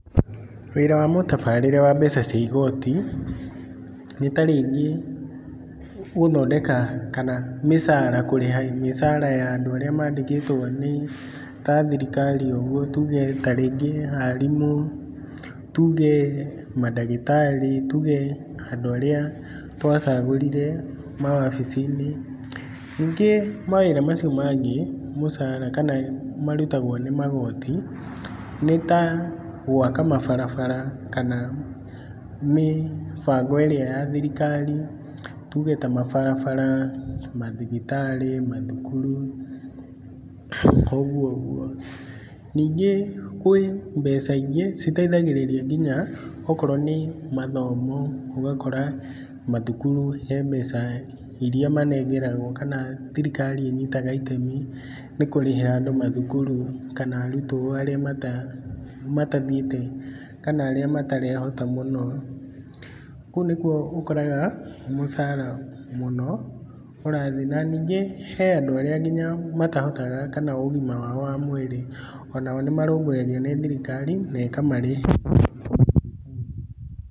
Wĩra wa mũtabarĩre wa mbeca cia igoti, nĩta rĩngĩ gũthondeka kana mĩcara kũrĩha mĩcara ya andũ arĩa mandĩkĩtwo nĩta thirikari ũguo tuge ta rĩngĩ arimũ, tuge mandagĩtarĩ, tuge andũ arĩa twacagũrire mawabici-inĩ. Ningĩ mawĩra macio mangĩ mũcara kana marutagwo nĩ magoti nĩta gwaka mabarabara kana mĩbango ĩrĩa ya thirikari, tuge ta mabarabara, mathibitarĩ, mathukuru, ũguũguo. Ningĩ kwĩ mbeca ingĩ citeithagĩrĩria nginya okorwo nĩ mathomo ũgakora mathukuru he mbeca iria manengeragwo kana thirikari ĩnyitaga itemi nĩkũrĩhĩra andũ mathukuru kana arutwo arĩa mata arĩa matathiĩte kana arĩa matarehota mũno, kũu nĩkuo ũkoraga mũcara mũno ũrathiĩ. Na ningĩ he andũ arĩa nginya matahotaga kana ũgima wao wa mwĩrĩ onao nĩ marũmbũyagio nĩ thirikari na ĩkamarĩhĩra.